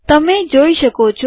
તમેં જોઈ શકો છો